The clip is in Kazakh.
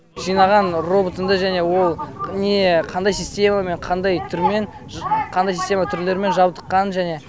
жинаған роботымды және ол не қандай системамен қандай түрмен қандай система түрлерімен жабдыққанын және